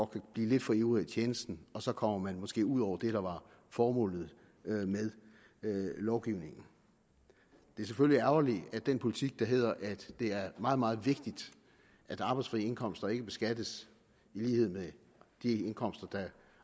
kan blive lidt for ivrig i tjenesten og så kommer man måske ud over det der var formålet med lovgivningen det er selvfølgelig ærgerligt at den politik der hedder at det er meget meget vigtigt at arbejdsfri indkomster ikke beskattes i lighed med de indkomster der